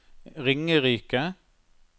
Ringerike